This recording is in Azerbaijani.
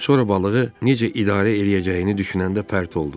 Sonra balığı necə idarə eləyəcəyini düşünəndə pərt oldu.